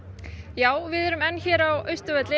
já við erum enn á Austurvelli